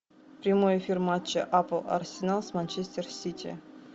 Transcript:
прямой эфир матча апл арсенал с манчестер сити